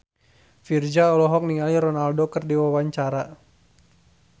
Virzha olohok ningali Ronaldo keur diwawancara